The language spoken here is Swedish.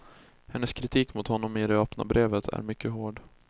Hennes kritik mot honom i det öppna brevet är mycket hård.